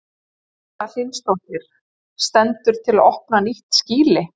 Erla Hlynsdóttir: Stendur til að opna nýtt skýli?